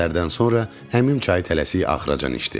Bu sözlərdən sonra əmim çayı tələsik axıracan içdi.